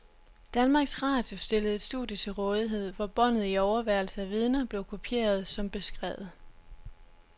Danmarks radio stillede et studie til rådighed, hvor båndet i overværelse af vidner blev kopieret som beskrevet.